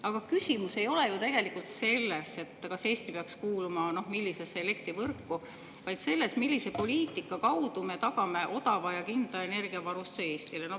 Aga küsimus ei ole ju tegelikult selles, millisesse elektrivõrku peaks Eesti kuuluma, vaid selles, millise poliitika kaudu me tagame odava ja kindla energiavarustuse Eestile.